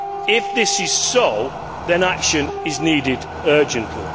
If this is so, then action is needed urgently.